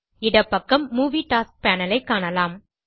இடப்பக்கம் movie tasks panel ஐ காணலாம்